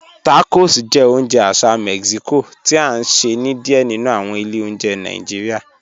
Tacos jẹ́ ọ̀unje àṣà Mexico ti a nṣẹ ni díẹ̀ nínu awọn ilẹ̀ ọ̀njẹ̀ Nàìjíríà.